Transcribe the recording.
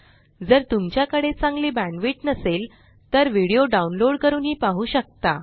जर तुमच्याकडे चांगली बॅण्डविड्थ नसेल तर व्हिडीओ डाउनलोड करूनही पाहू शकता